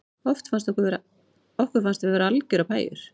Okkur fannst við vera algerar pæjur